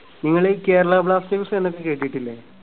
നിങ്ങൾ ഈ കേരള ബ്ലാസ്റ്റേഴ്‌സ് എന്നൊക്കെ കേട്ടിട്ടില്ലേ?